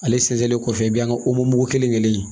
Ale sɛnsɛnnen kɔfɛ i bɛ yan mug kelen kelen kelen